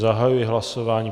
Zahajuji hlasování.